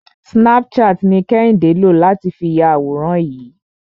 Snapchat ni Kẹ́hìndé lò láti fi ya àwòrán yìí.